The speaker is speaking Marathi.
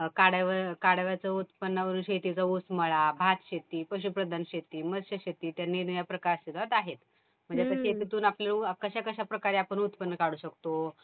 काड्या कडव्यांचं उत्पन्न, शेतीच ऊस मळा, भात शेती, पशुप्रधान शेती, मत्यशेती इत्यादी निरनिराळे प्रकार त्याच्यात आहेत. म्हणजे शेतीतून आपण कशाकशाप्रकारे आपण उत्पन्न काढू शकतो.